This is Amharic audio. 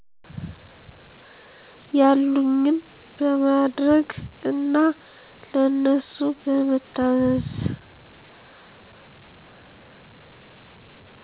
ያሉኝን በማድረግ እና ለነሱ በመታዘዝ።